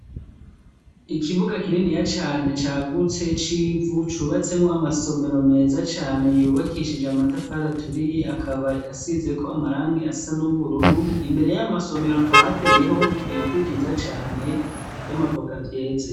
Ikibuga kininiya cane cagutse c'ivu cubatsemwo amasomero meza cane yubakishij'amatafar'aturiye akaba asizek'amarangi asa n'ubururu, imbere y'ayo masomero hakaba hateyeho ibiti vyiza cane vy'amavoka vyeze.